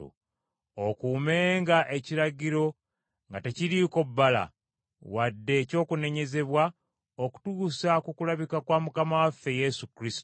okuumenga ekiragiro nga tekiriiko bbala, wadde eky’okunenyezebwa okutuusa ku kulabika kwa Mukama waffe Yesu Kristo,